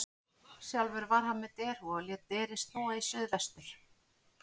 Sjálfur var hann með derhúfu og lét derið snúa í suð vestur.